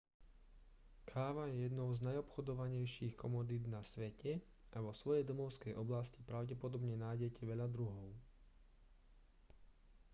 káva je jednou z najobchodovanejších komodít na svete a vo svojej domovskej oblasti pravdepodobne nájdete veľa druhov